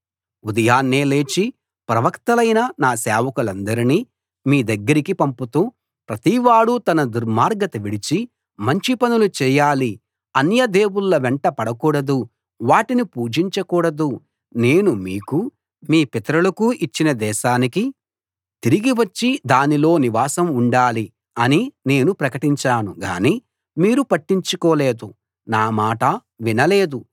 ఉదయాన్నే లేచి ప్రవక్తలైన నా సేవకులందరినీ మీ దగ్గరికి పంపుతూ ప్రతివాడూ తన దుర్మార్గత విడిచి మంచి పనులు చేయాలి అన్యదేవుళ్ళ వెంట పడకూడదు వాటిని పూజించకూడదు నేను మీకూ మీ పితరులకూ ఇచ్చిన దేశానికి తిరిగి వచ్చి దానిలో నివాసం ఉండాలి అని నేను ప్రకటించాను గాని మీరు పట్టించుకోలేదు నా మాట వినలేదు